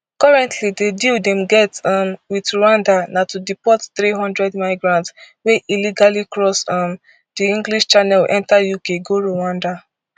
currently di deal dem get um wit rwanda na to deport three hundred migrants wey illegally cross um di english channel enta uk go rwanda